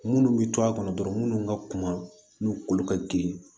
Munnu bɛ to a kɔnɔ dɔrɔn munnu ka kuma n'u kolo ka girin